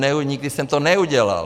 Nikdy jsem to neudělal.